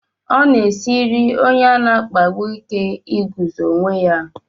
Ọ na-esiri onye a na-akpagbu ike iguzo onwe ya.